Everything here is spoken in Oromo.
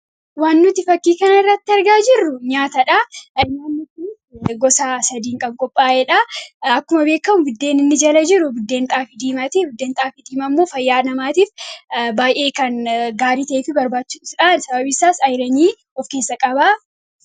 Waan nuti fakkii kan irratti argaa jirru nyaatadha. Nyaanni kunis gosa sadiin kan qophaa'edha. Akkuma beekamu buddeen inni jala jiru, buddeen xaafii diimaati. Buddeen xaafii diimaa ammoo fayyaa namaatiif baay'ee kan gaarii ta'eetu barbaachisudha. Sababin isaas ayiranii of keessa qaba.